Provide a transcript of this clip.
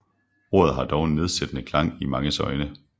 Ordet har dog en nedsættende klang i manges øjne